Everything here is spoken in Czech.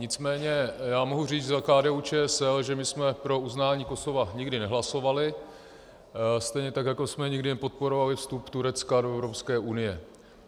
Nicméně já mohu říct za KDU-ČSL, že my jsme pro uznání Kosova nikdy nehlasovali, stejně tak jako jsme nikdy nepodporovali vstup Turecka do Evropské unie.